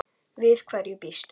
Við hverju býstu?